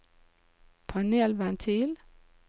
panelventil